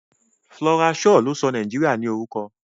Flora Shaw ló sọ Nàìjíríà ní orúkọ.